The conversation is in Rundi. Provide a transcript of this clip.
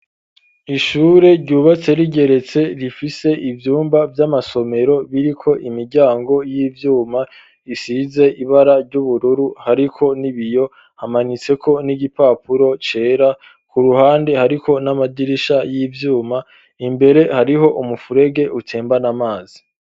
Ishure ryubatse rigeretse, rifise ivyumba vy'amasomero biriko imiryango y'ivyuma, isize ibara ry'ubururu, hariko n'ibiyo, hamanitseko n'igipapuro cera; ku ruhande hariko n'amadirisha y'ivyuma, imbere hariho umufurege utembana amazi.